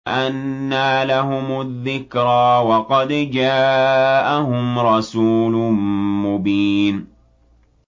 أَنَّىٰ لَهُمُ الذِّكْرَىٰ وَقَدْ جَاءَهُمْ رَسُولٌ مُّبِينٌ